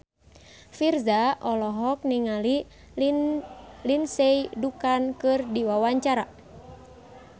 Virzha olohok ningali Lindsay Ducan keur diwawancara